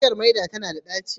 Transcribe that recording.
Bishiyar maina tana da ɗaci